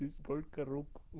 сколько рук у